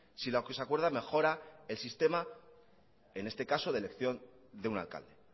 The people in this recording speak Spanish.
si lo que se acuerda mejora el sistema en este caso de elección de un alcalde